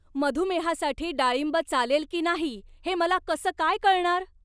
मधुमेहासाठी डाळिंब चालेल की नाही हे मला कसं काय कळणार?